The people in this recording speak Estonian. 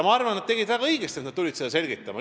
Ma arvan, et nad tegid väga õigesti, et nad tulid seda selgitama.